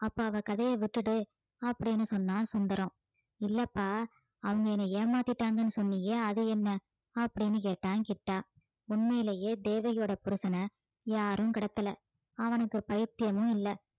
அப்போ அவ கதைய விட்டுடு அப்படீன்னு சொன்னான் சுந்தரம் இல்லப்பா அவங்க என்னை ஏமாத்திட்டாங்கன்னு சொன்னியே அது என்ன அப்படீன்னு கேட்டான் கிட்டா உண்மையிலேயே தேவகியோட புருஷனை யாரும் கடத்தல அவனுக்கு பைத்தியமும் இல்லை